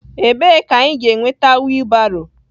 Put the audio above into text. Ebee ka anyị ga-enweta wiilbaro?